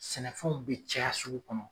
Sɛnɛfɛnw be caya sugu kɔnɔ.